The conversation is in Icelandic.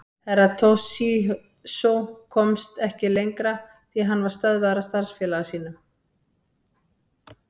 Herra Toshizo komst ekki lengra því hann var stöðvaður af starfsfélaga sínum.